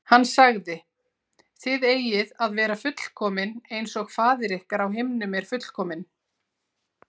Hann sagði: Þið eigið að vera fullkomin eins og faðir ykkar á himnum er fullkominn.